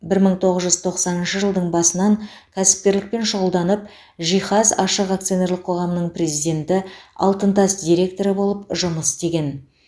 бір мың тоғыз жүз тоқсаныншы жылдың басынан кәсіпкерлікпен шұғылданып жиһаз ашық акционерлік қоғамының президенті алтын тас директоры болып жұмыс істеген